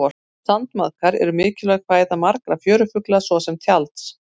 sandmaðkar eru mikilvæg fæða margra fjörufugla svo sem tjalds